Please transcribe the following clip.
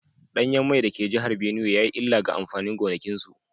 Danyen mai da ke jihar Binuwai ya yi illa ga amfanin gonakinsu